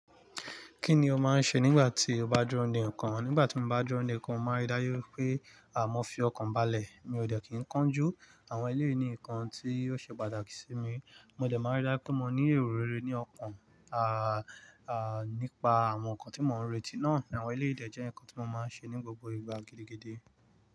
Kí ni o máa ń ṣe nígbà tí o bá dúró de nkan? Nígbà tí mo bá dúró de nkan, mo máa ń rí dájú pé mọ́ fi ọkàn balẹ̀. Mi ò dẹ̀ kí n kánjú. Àwọn eléyi ni nǹkan tí ó ṣe pàtàkì sí mi. Mo dẹ̀ máa ń rí dájú pé mo ní èrò lére ní ọkàn, à, à, nípa àwọn nǹkan tí mò ń retí náà. Àwọn eléyi dẹ̀ jẹ́ nǹkan tí mo máa ń ṣe ní gbogbo ìgbà gidi gidi.